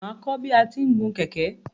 Máa kọ́ bi a ti ń gun kẹ̀kẹ́.